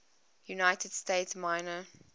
united states minor